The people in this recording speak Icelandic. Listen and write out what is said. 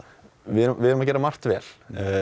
við erum að gera margt vel